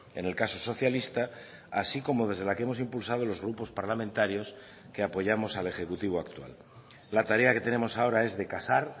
en el caso socialista así como desde la que hemos impulsado los grupos parlamentarios que apoyamos al ejecutivo actual la tarea que tenemos ahora es de casar